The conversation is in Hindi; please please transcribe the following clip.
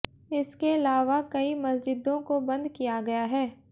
इसके लावा कई मस्जिदों को बंद किया गया है